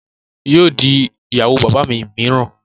Yóò di ìyàwó bàbá mi mìíràn